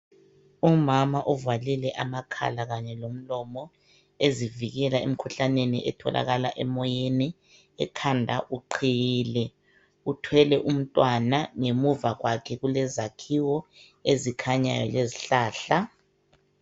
Umama kuvalile amakhala kanye lomlomo ezivikela emkhuhlaneni etholakala emoyeni. Ekhanda uqhiyile uthwele umntwana ngemuva kwakhe kulezakhiwo ezikhanyayo lezihlahla.